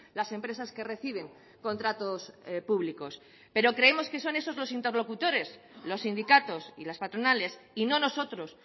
las empresas que reciben contratos públicos pero creemos que son esos los interlocutores los sindicatos y las patronales y no nosotros